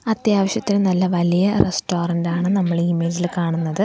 അത്യാവശ്യത്തിന് നല്ല വലിയ റസ്റ്റോറന്റ് ആണ് നമ്മളീ ഇമേജില് കാണുന്നത്.